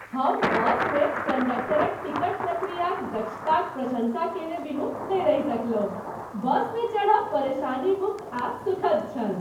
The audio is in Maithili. हम बसमे कंडक्टरक टिकट प्रक्रियाक दक्षताक प्रशंसा केने बिनु नहि रहि सकलहुँ। बसमे चढ़ब परेशानी मुक्त आ सुखद छल।